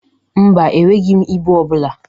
Mba, enweghi m ibụ ọ bụla.